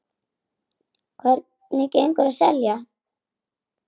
Hvernig gengur að selja?